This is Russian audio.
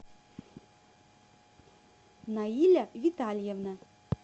наиля витальевна